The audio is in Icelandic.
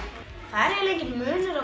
það er eiginlega enginn munur á